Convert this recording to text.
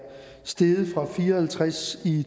steget fra fire og halvtreds i